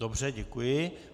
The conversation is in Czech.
Dobře, děkuji.